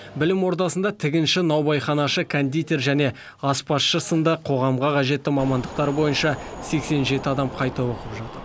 білім ордасында тігінші наубайханашы кондитер және аспазшы сынды қоғамға қажетті мамандықтар бойынша сексен жеті адам қайта оқып жатыр